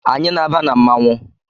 Anyị na-aba na mmanwụ